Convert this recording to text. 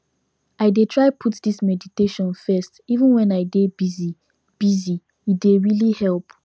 i dey try put this meditation first even when i dey busy busy e dey really help